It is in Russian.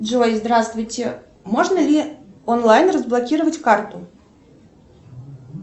джой здравствуйте можно ли онлайн разблокировать карту